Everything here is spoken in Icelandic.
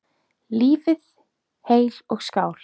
Lifið heil og skál!